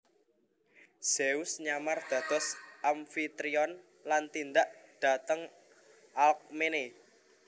Zeus nyamar dados Amfitrion lan tindak dhateng Alkmene